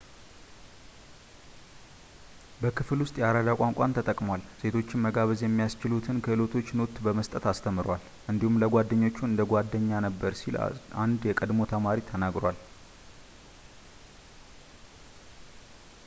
በክፍል ውስጥ የአራዳ ቋንቋን ተጠቅሟል ሴቶችን መጋበዝ የሚያስችሉትን ክህሎቶች ኖት በመስጠት አስተምሯል እንዲሁም ለተማሪዎቹ እንደ ጓደኛ ነበር ሲል አንድ የቀድሞ ተማሪ ተናግሯል